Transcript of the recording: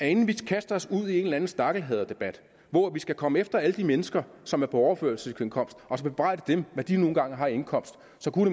inden vi kaster os ud i en eller anden stakkelhaderdebat hvor vi skal komme efter alle de mennesker som er på overførselsindkomst og bebrejde dem hvad de nu engang har i indkomst